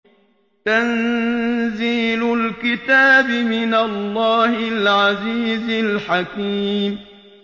تَنزِيلُ الْكِتَابِ مِنَ اللَّهِ الْعَزِيزِ الْحَكِيمِ